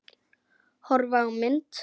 Horfa á mynd